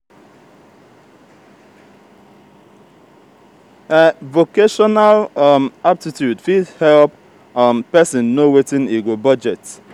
vocational um aptitude fit help um pesin know wetin e go budget.